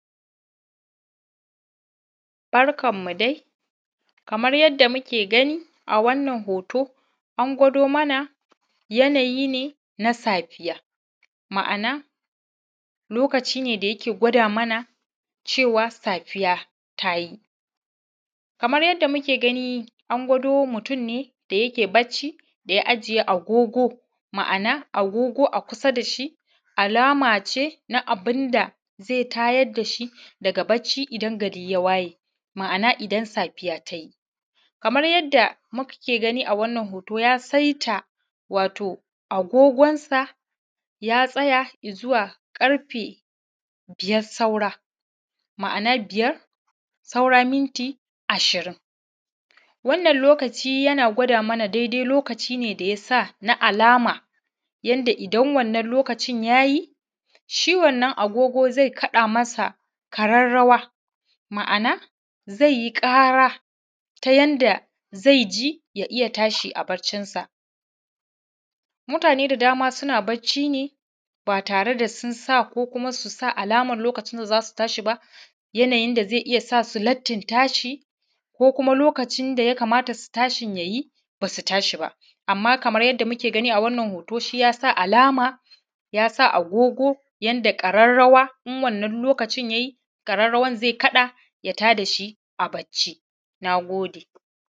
Barkanmu dai kamar yadda muke gani a wannan hoto an gwado mana yanayi ne na safiya. Ma'ana lokaci ne da yake gwada mana Lokaci ne na safiya tayi. Kamar yadda muke ganin an gwado mutun ne yake bacci da ya ajiye agogo a kusa da shi alama ce na abun da zai tayar da shi daga bacci idan gari ya waye. Ma'ana idan safiya ta yi. Kamar yadda muke gani a wannan hoto ya saita lokacin da zai a agogonsa ya tsaya ƙarfe biyar saura anan biyar saura minti ashirin. Wannan lokaci yana gwada mana daidai lokacin ne da ya sa na alama yadda idan wanna lokaci ya yi shi wannan agogon zai fada masa, ma'ana zai yi kara zai ji ya iya tashi a baccinsa. Mutane da dama suna baccinsa ne ba tare da sun sa ko za su sa alamar za sa shi ba. Yanayin da zai sa su lattin tashi, ko kuma lokacin da ya kamata su tashin ya yi amma ba su tashi ba. Yadda muke gani a wannan hoto shi ya sa alama ya sa agogo, yadda ƙararrawa in wannan lokacin ya yi ƙararrawar zai kada ya tada shi a bacci na gode.